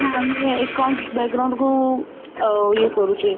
କାହିଁକି ନା ଆମେ accounts କୁ ଆ ଇଏ କରୁଚେ